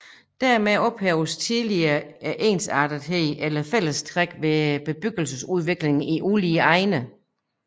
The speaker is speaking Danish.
Dermed ophæves tillige ensartetheden eller fællestræk ved bebyggelsesudviklingen i ulige egne